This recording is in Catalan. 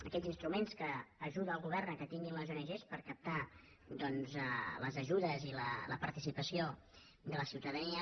aquells instruments que ajuda el govern que els tinguin les ong per captar doncs les ajudes i la participació de la ciutadania